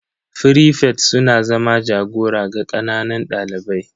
frifets suna zama jagora ga ƙananan ɗalibai.